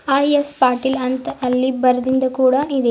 IS Patil ಅಂತ ಅಲ್ಲಿ ಬರ್ದಿಂದ ಕೂಡ ಇದೆ.